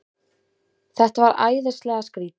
Þetta var æðislega skrýtið.